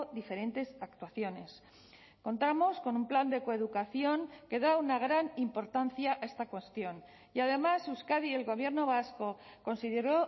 diferentes actuaciones contamos con un plan de coeducación que da una gran importancia a esta cuestión y además euskadi y el gobierno vasco consideró